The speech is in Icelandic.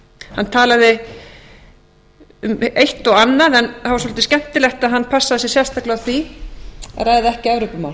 hann talaði um eitt og annað en það var dálítið skemmtilegt að hann passaði sig sérstaklega á því að ræða ekki evrópumál